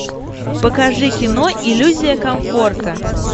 покажи кино иллюзия комфорта